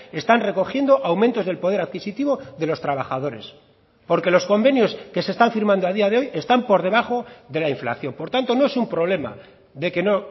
están recogiendo aumentos del poder adquisitivo de los trabajadores porque los convenios que se están firmando a día de hoy están por debajo de la inflación por tanto no es un problema de que no